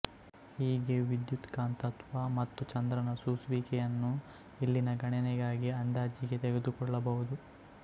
ಹೀಗೆ ವಿದ್ಯುತ್ಕಾಂತತ್ವ ಮತ್ತು ಚಂದ್ರನ ಸೂಸುವಿಕೆಯನ್ನು ಇಲ್ಲಿ ಗಣನೆಗಾಗಿ ಅಂದಾಜಿಗೆ ತೆಗೆದುಕೊಳ್ಳಬಹುದು